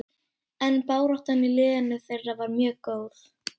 Það er vegna þess að gögn og skipanir í tölvum eru oftast táknuð með tvíundakerfistölum.